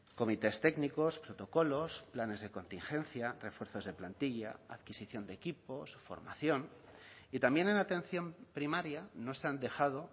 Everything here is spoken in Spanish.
comités técnicos protocolos planes de contingencia refuerzos de plantilla adquisición de equipos formación y también en la atención primaria no se han dejado